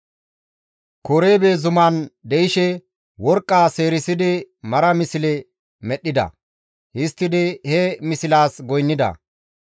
Korebe Zuman de7ishe worqqa seerisidi mara misle medhdhida; histtidi he mislaas goynnida.